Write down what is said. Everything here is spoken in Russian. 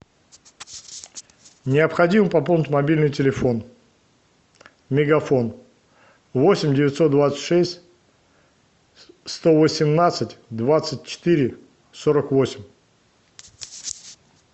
необходимо пополнить мобильный телефон мегафон восемь девятьсот двадцать шесть сто восемнадцать двадцать четыре сорок восемь